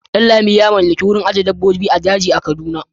Danlami ya mallaki wurin ajiyar dabbobin jaji a jihar kaduna.